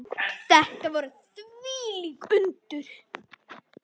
Þetta voru þvílík undur.